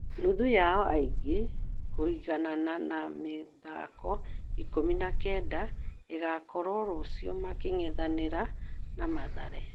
Nuthu yao ya ligi, kũiganana na mĩthako ikũmi na kenda ĩgakorwo rũciũ making'ethanĩra na Mathare.